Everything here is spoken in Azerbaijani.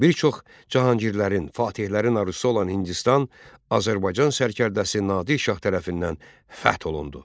Bir çox Cahangirlərin, Fatehlərin arzusu olan Hindistan Azərbaycan sərkərdəsi Nadir Şah tərəfindən fəth olundu.